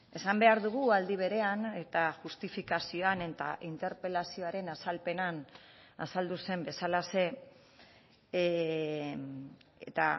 esan behar dugu aldi berean eta justifikazioan eta interpelazioaren azalpenean azaldu zen bezalaxe eta